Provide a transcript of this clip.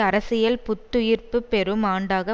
அரசியல் புத்துயிர்ப்பு பெறும் ஆண்டாக